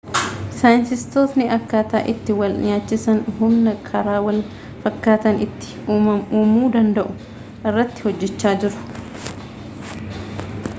saayinstistootni akkataa itti wal-nyaachisaan humna karaa wal fakkataan itti uumuu danda'u irratti hojjechaa jiru